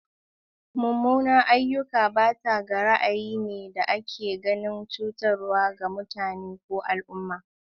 Mummunan ayyuka bata gaari ne da ake ganin cutarwa ga mutane ko al'umma.